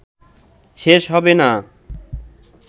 শেষ হবেনা